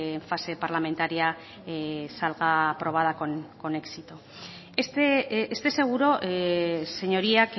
en fase parlamentaria salga aprobada con éxito esté seguro señoría